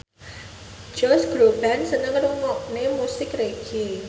Josh Groban seneng ngrungokne musik reggae